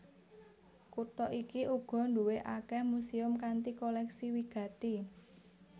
Kutha iki uga duwé akèh muséum kanthi kolèksi wigati